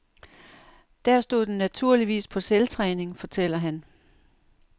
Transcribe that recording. Der stod den naturligvis på selvtræning, fortæller han.